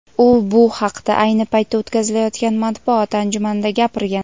U bu haqda ayni paytda o‘tkazilayotgan matbuot anjumanida gapirgan.